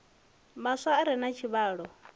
maswa a re na tshivhalo